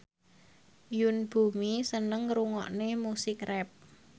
Yoon Bomi seneng ngrungokne musik rap